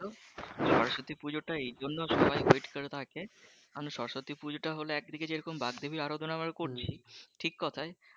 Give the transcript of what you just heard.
সরস্বতী পুজো টায় এইজন্য সবাই ওয়াইট করে থাকে মানে সরস্বতী পুজো হলো একদিকে যেরকম বাগদেবীর আরাধনা আমরা করছি ঠিক কথা,